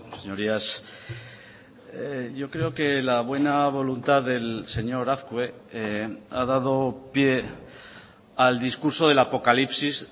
señorías yo creo que la buena voluntad del señor azkue ha dado pie al discurso del apocalipsis